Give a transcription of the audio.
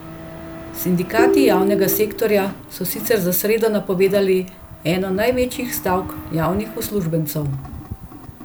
Sindikati javnega sektorja so sicer za sredo napovedali eno večjih stavk javnih uslužbencev.